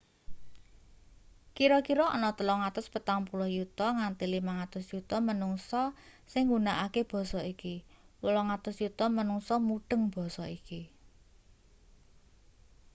kira-kira ana 340 yuta nganti 500 yuta manungsa sing nggunakake basa iki 800 yuta manungsa mudheng basa iki